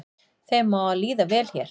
Þeim á að líða vel hér